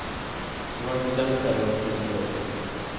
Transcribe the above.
Det var inte den terrorn polisen avsåg.